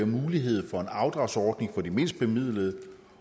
mulighed for en afdragsordning for de mindst bemidlede